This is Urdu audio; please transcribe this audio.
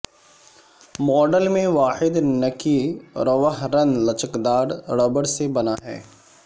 ماڈل میں واحد نکی روہ رن لچکدار ربڑ سے بنا ہے